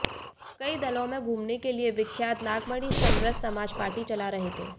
कई दलो में घूमने के लिए विख्यात नागमणि समरस समाज पार्टी चला रहे थे